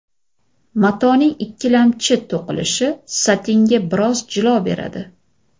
Matoning ikkilamchi to‘qilishi satinga biroz jilo beradi.